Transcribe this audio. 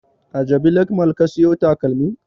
A jabi lake mall ka siyo takalmin?